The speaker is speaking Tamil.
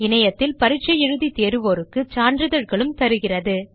இணையத்தில் பரீட்சை எழுதி தேர்வோருக்கு சான்றிதழ்களும் தருகிறது